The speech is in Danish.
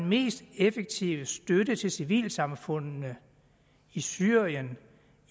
mest effektive støtte til civilsamfundene i syrien